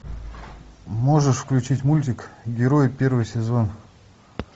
можешь включить мультик герои первый сезон